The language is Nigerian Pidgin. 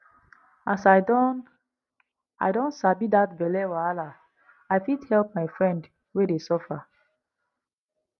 as i don i don sabi that belle wahala i fit help my friend wey dey suffer